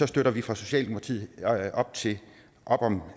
støtter vi fra socialdemokratiets side op om